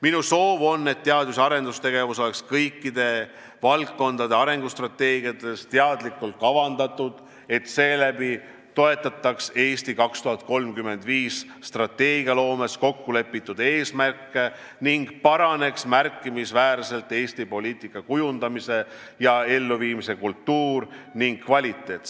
Minu soov on, et teadus- ja arendustegevus oleks kõikide valdkondade arengustrateegiates teadlikult kavandatud, et seeläbi toetataks "Eesti 2035" strateegialoomes kokkulepitud eesmärke ning Eestis paraneks märkimisväärselt poliitika kujundamise ja elluviimise kultuur ning kvaliteet.